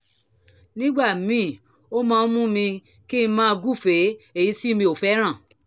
nígbà míì ó máa ń mú kí n máa gúfèé èyí tí mi ò fẹ́ràn